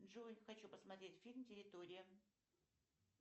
джой хочу посмотреть фильм территория